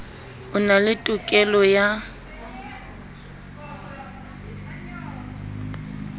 o na le tokelo ya